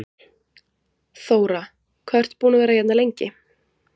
Þóra: Hvað ertu búinn að vera hérna lengi?